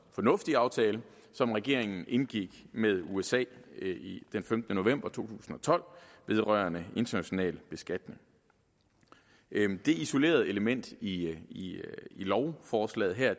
fornuftige aftale som regeringen indgik med usa den femtende november to tusind og tolv vedrørende international beskatning dette isolerede element i lovforslaget her er